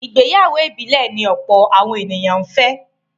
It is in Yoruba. Ìgbéyàwó ìbílẹ̀ ni ọ̀pọ̀ àwọn ènìyàn fẹ́.